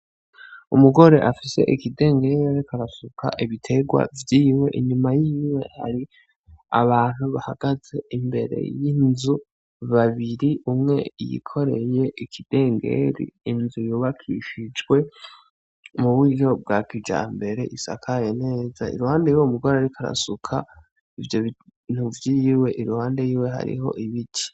Umugore afise ikidengere ariko arasuka ibiterwa vyiwe inyuma yiwe hari abantu bahagaze imbere y'inzu babiri umwe yikoreye ikidengeri, inzu yubakishijwe muburyo bwa kijambere isakaye neza iruhande yuwo mugore ariko arasuka ivyo bintu vyiwe iruhande yiwe hariho ibiti.